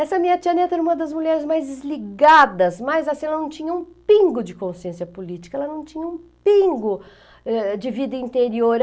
Essa minha tia Neto era uma das mulheres mais desligadas, mais assim, ela não tinha um pingo de consciência política, ela não tinha um pingo eh de vida interior.